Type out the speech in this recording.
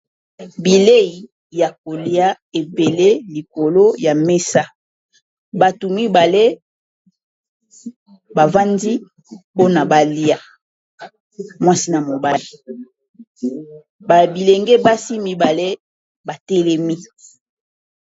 Bilei ya kolia ebele likolo ya mesa, batu mibale bavandi mpona bali mwasi na mobali, babilenge basi mibale batelemi.